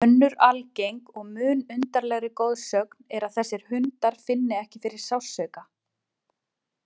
Önnur algeng og mun undarlegri goðsögn er að þessir hundar finni ekki fyrir sársauka.